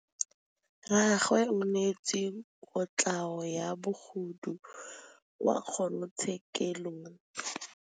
Rragwe o neetswe kotlhaô ya bogodu kwa kgoro tshêkêlông.